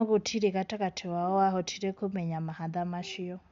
No gũtirĩ gatagati wao wahotire kũmenya mahatha macio.